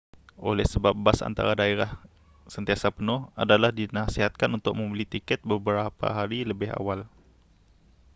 oleh sebab bas antara daerah sentiasa penuh adalah dinasihatkan untuk membeli tiket beberapa hari lebih awal